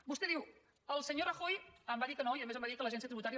vostè diu el senyor rajoy em va dir que no i a més em va dir que l’agència tributària